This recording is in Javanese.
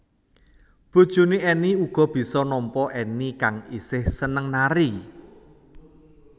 Bojoné Enny uga bisa nampa Enny kang isih seneng nari